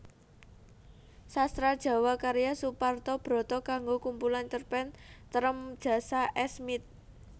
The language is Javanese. Sastra JawaKarya Suparto Brata kanggo kumpulan cerpen Trem Jasa Esmiet